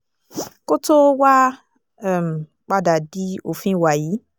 kó tóó wáá um padà di òfin wàyí